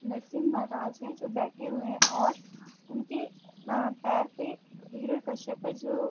नरसिंभ महाराज हैं जो बैठे हुए हैं और उनके अ पैर पे हिरणाकश्यप हैं जो --